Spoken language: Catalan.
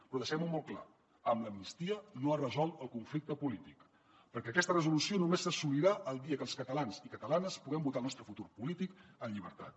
però deixem ho molt clar amb l’amnistia no es resol el conflicte polític perquè aquesta resolució només s’assolirà el dia que els catalans i catalanes puguem votar el nostre futur polític en llibertat